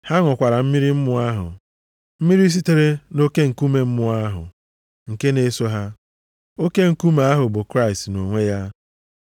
Ha ṅụkwara mmiri mmụọ ahụ, mmiri sitere nʼoke nkume mmụọ ahụ, nke na-eso ha. Oke nkume ahụ bụ Kraịst nʼonwe ya.